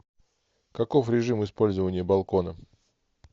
каков режим использования балкона